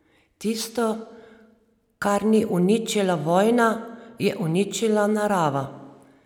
Tisto, kar ni uničila vojna, je uničila narava.